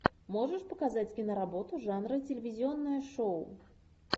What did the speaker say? можешь показать киноработу жанра телевизионное шоу